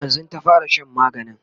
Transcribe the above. e yanzun ta fara Shan maganin